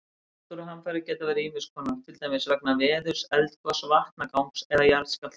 Náttúruhamfarir geta verið ýmis konar, til dæmis vegna veðurs, eldgoss, vatnagangs eða jarðskjálfta.